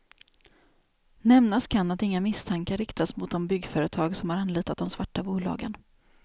Nämnas kan att inga misstankar riktas mot de byggföretag som har anlitat de svarta bolagen.